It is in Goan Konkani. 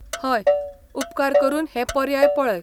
हय, उपकार करून हें पर्याय पळय.